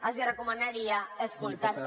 els recomanaria escoltar se